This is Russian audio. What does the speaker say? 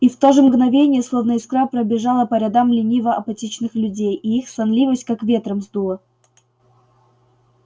и в то же мгновение словно искра пробежала по рядам лениво-апатичных людей и их сонливость как ветром сдуло